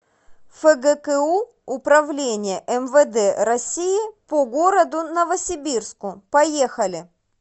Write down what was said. фгку управление мвд россии по городу новосибирску поехали